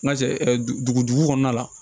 N ka dugu kɔnɔna la